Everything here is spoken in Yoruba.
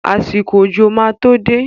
Àsìkò òjò máa to dé.